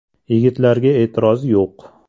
Yigitlarga e’tiroz yo‘q.